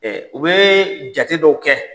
u bɛ jate dɔw kɛ.